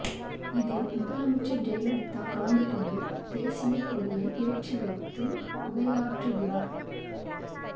இதில் முதலமைச்சர் ஜெயலலிதா கலந்துகொண்டு தேசிய கொடியை ஏற்றி வைத்து உரையாற்றுகிறார்